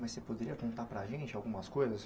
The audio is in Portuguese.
Mas você poderia contar para a gente algumas coisas?